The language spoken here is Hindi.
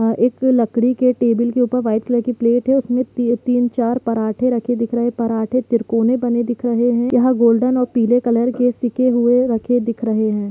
एक लकड़ी के टेबल के ऊपर वाइट कलर की प्लेट है उसमे तीन चार पराठे रखे दिख रहे है पराठे त्रिकोने बने दिख रहे है यहा गोल्डन और पिले कलर के शिके हुए रखे दिख रहे है।